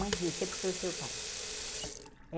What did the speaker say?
diz, você puxou o seu pai.